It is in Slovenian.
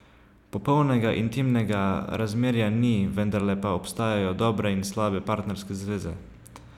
Popolnega intimnega razmerja ni, vendarle pa obstajajo dobre in slabe partnerske zveze.